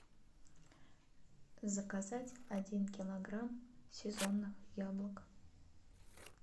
заказать один килограмм сезонных яблок